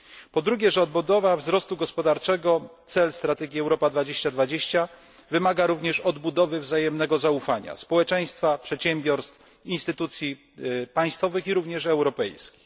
Po drugie, odbudowa wzrostu gospodarczego cel strategii Europa 2020 wymaga również odbudowy wzajemnego zaufania społeczeństwa, przedsiębiorstw, instytucji państwowych i również europejskich.